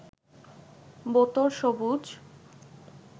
বোতল সবুজ